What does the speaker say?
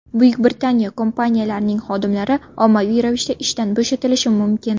Buyuk Britaniya kompaniyalarining xodimlari ommaviy ravishda ishdan bo‘shatilishi mumkin.